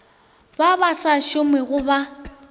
ba ba sa šomego ba